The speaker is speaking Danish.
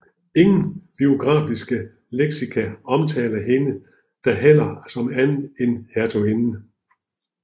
Ingen biografiske leksika omtaler hende da heller som andet end hertuginde